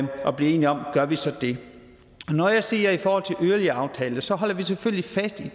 blive enige om gør vi så det når jeg siger i forhold til yderligere aftaler så holder vi selvfølgelig fast i